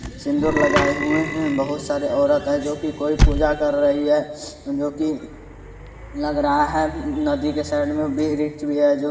सिंदूर लगाए हुए हैं बहुत सारी औरत है जो की कोई पूजा कर रही है जो की लग रहा है नदी के साइड में वृक्ष भी है जो --